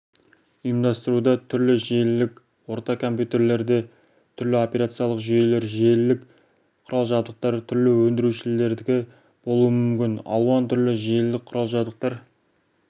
ұйымдастыруда түрлі желілік орта компьютерлерде түрлі операциялық жүйелер желілік құрал-жабдықтар түрлі өңдірушілердікі болуы мүмкін алуан түрлі желілік құрал-жабдықтар